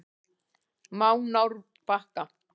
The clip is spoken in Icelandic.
Mánárbakka